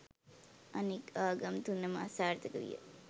අනෙක් ආගම් තුන ම අසාර්ථක විය.